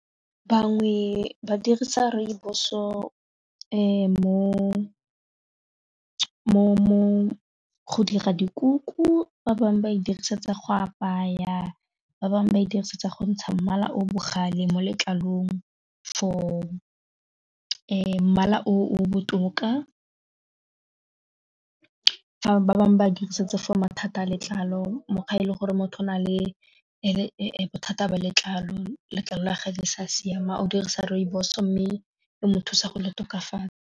Bangwe ba dirisa rooibos go dira dikuku, ba bangwe ba e dirisetsa go apaya, ba bangwe ba e dirisetsa go ntsha mmala o bogale mo letlalong for mmala o botoka, fa ba bangwe ba dirisetsa for mathata a letlalo mokgwa e le gore motho a na le bothata ba letlalo, letlalo la gage le sa siama o dirisa rooibos mme e mo thusa go le tokafatsa.